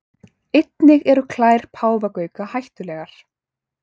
Einnig eru klær páfagauka hættulegar.